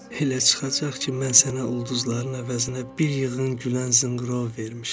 Elə çıxacaq ki, mən sənə ulduzların əvəzinə bir yığın gülən zınqrov vermişəm.